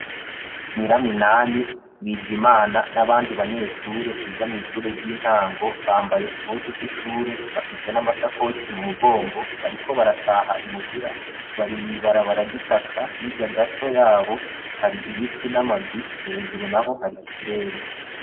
Nkiraminani, bizimana n'abandi banyeshure biga mw'ishure ry'intango bambaye impuzu z'ishure bafise n'amasakoshi mu mugongo bariko barataha imuhira bari mwibabara ryitaka hirya gato yabo hari ibiti n'amazu hejuru naho hari ikirere.